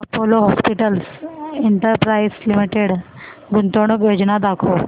Apollo hospitals enterprise limited गुंतवणूक योजना दाखव